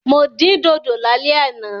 Mo dín dòdò lálẹ́ àná.